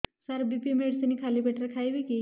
ସାର BP medicine ଖାଲି ପେଟରେ ଖାଇବି କି